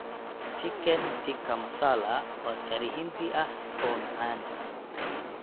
Chicken tikka masala waa curry Hindi ah oo macaan.